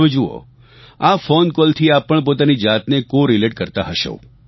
હવે જુઓ આ ફોન કોલથી આપ પણ પોતાની જાતને કોરલેટ કરતા હશો